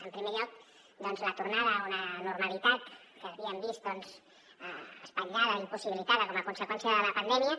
en primer lloc doncs la tornada a una normalitat que havíem vist espatllada impossibilitada com a conseqüència de la pandèmia